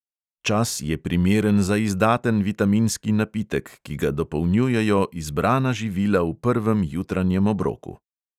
Čas je primeren za izdaten vitaminski napitek, ki ga dopolnjujejo izbrana živila v prvem jutranjem obroku.